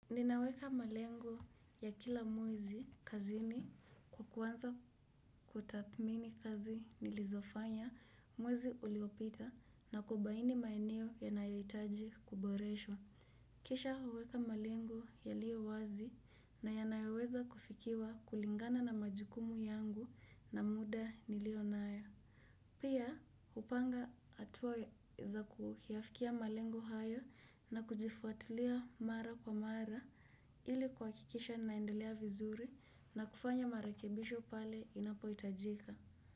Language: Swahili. Ninaweka malengo ya kila mwezi kazini kwakuanza kuthamini kazi nilizofanya mwezi uliopita na kubaini maeneo yanayohitaji kuboreshwa. Kisha huweka malengo yaliyo wazi na yanayoweza kufikiwa kulingana na majukumu yangu na muda niliyonayo. Pia hupanga hatuwa za kuyafikia malengo hayo na kujifuatulia mara kwa mara ili kwakikisha naendelea vizuri na kufanya marakebisho pale inapohitajika.